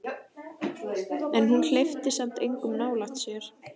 En hún hleypti samt engum nálægt sér.